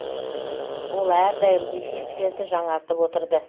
ол әрдайым эффектілерді жаңартып отырды